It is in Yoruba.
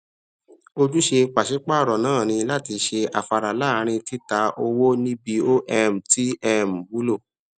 ójúsẹ pàṣipàaro náà ni láti ṣe afárá láàrin títà owó níbi o um ti um wúlò